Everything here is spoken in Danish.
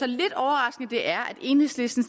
lidt overraskende det er at enhedslisten